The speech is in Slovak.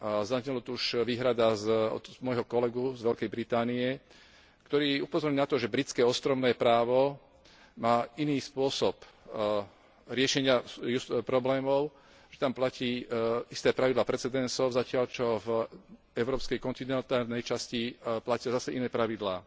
Zaznela tu už výhrada od môjho kolegu z Veľkej Británie, ktorý upozornil na to, že britské ostrovné právo má iný spôsob riešenia problémov, že tam platia pravidlá precedensov, zatiaľ čo v európskej kontinentálnej časti platia zase iné pravidlá.